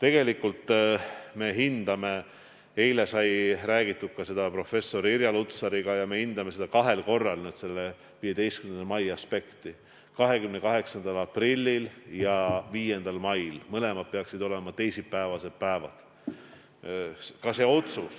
Eile sai räägitud ka professor Irja Lutsariga ja tegelikult me hindame kahel korral seda 15. mai aspekti: 28. aprillil ja 5. mail, mõlemad peaksid olema teisipäevased päevad.